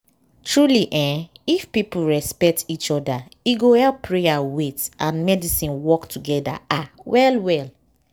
truely eeh if people respect each oda e go help prayer wait and medicine work togeda ah well well.